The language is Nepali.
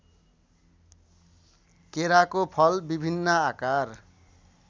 केराको फल विभिन्न आकार